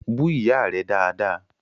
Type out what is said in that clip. Bú Ìyá rẹ̀ dáadáa!